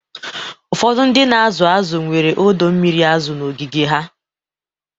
Ụfọdụ ndị na-azụ azụ nwere ọdọ mmiri azụ n'ogige ha